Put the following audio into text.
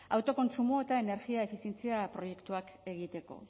autokontsumo eta energia efizientzia proiektuak egiteko